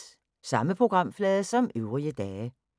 Samme programflade som øvrige dage